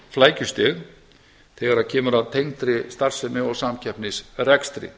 flækjustig þegar kemur að tengdri starfsemi og samkeppnisrekstri